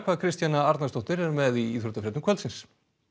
Kristjana Arnarsdóttir er með íþróttafréttir kvöldsins